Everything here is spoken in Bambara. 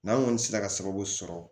N'an ŋɔni sera ka sababu sɔrɔ